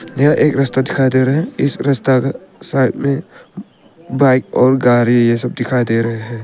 यह एक रास्ता दिखाई दे रहा हैं इस रस्ता के साइड में बाइक और गाड़ी ये सब दिखाई दे रहा है।